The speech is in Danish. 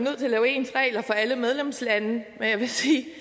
at lave ens regler for alle medlemslande men jeg vil sige